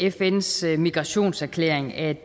af fns migrationserklæring at